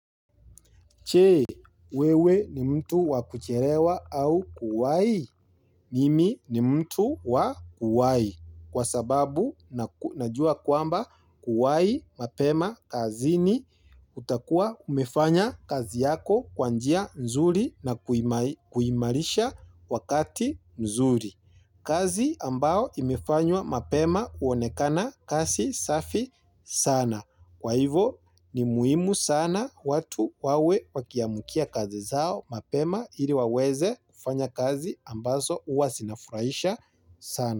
Je, wewe ni mtu wakuchelewa au kuwai. Mimi ni mtu wakuwai. Kwa sababu najua kwamba kuwai mapema kazini utakua umefanya kazi yako kwa njia nzuri na kuimarisha wakati mzuri. Kazi ambao imefanywa mapema huonekana kazi safi sana. Kwa hivyo ni muhimu sana watu wawe wakiamukia kazi zao mapema ili waweze kufanya kazi ambazo huwazinafurahisha sana.